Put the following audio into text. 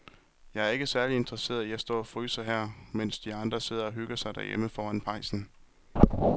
Jeg er ikke særlig interesseret i at stå og fryse her, mens de andre sidder og hygger sig derhjemme foran pejsen.